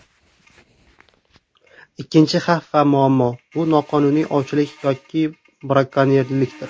Ikkinchi xavf va muammo, bu noqonuniy ovchilik yoki brakonyerlikdir.